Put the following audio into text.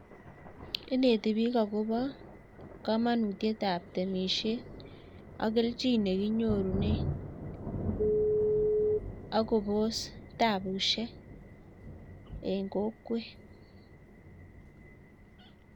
Ineti biik akobo komonutietab temisiet ak kelchin nekinyorunen, akobos tabusiek en kokwet